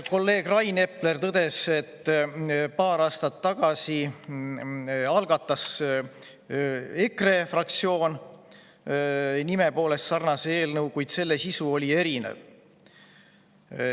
Kolleeg Rain Epler tõdes, et paar aastat tagasi algatas EKRE fraktsioon nime poolest sarnase eelnõu, kuid selle sisu oli erinev.